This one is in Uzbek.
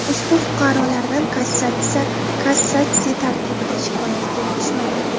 Ushbu fuqarolardan kassatsiya tartibida shikoyati kelib tushmagan.